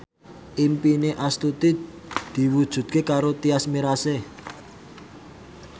impine Astuti diwujudke karo Tyas Mirasih